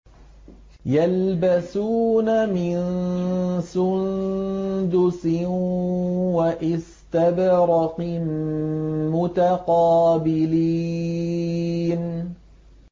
يَلْبَسُونَ مِن سُندُسٍ وَإِسْتَبْرَقٍ مُّتَقَابِلِينَ